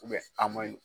a maɲi